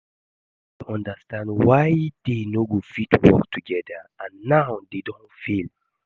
I no dey understand why dey no go fit work together and now dey don fail